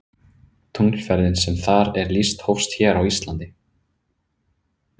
Tunglferðin sem þar er lýst hófst hér á Íslandi.